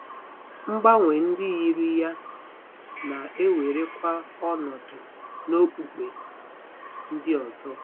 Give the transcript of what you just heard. Mgbanwe ndị yiri ya na-ewerekwa ọnọdụ n'okpukpe ndị ọzọ.